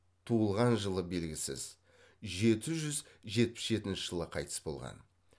туылған жылы белгісіз жеті жүз жетпіс жетінші жылы қайтыс болған